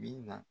Bi na